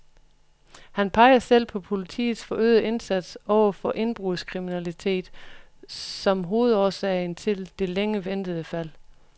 Han peger selv på politiets forøgede indsats over for indbrudskriminalitet som hovedårsagen til det længe ventede fald.